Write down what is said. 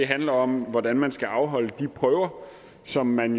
handler om hvordan man skal afholde de prøver som man